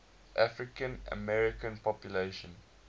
african american population